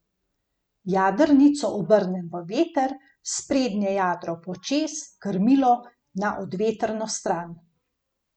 Jadrnico obrnem v veter, sprednje jadro počez, krmilo na odvetrno stran.